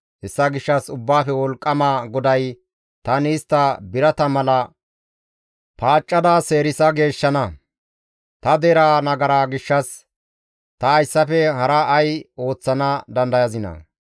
Hessa gishshas Ubbaafe Wolqqama GODAY, «Tani istta birata mala paaccada seerisa geeshshana. Ta deraa nagara gishshas ta hayssafe hara ay ooththana dandayazinaa?